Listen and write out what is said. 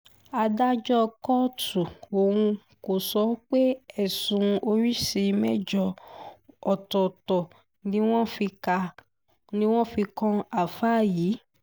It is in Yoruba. adájọ́ kóòtù ọ̀hún sọ pé ẹ̀sùn oríṣìí mẹ́jọ ọ̀tọ̀ọ̀tọ̀ ni wọ́n fi kan ááfáà yìí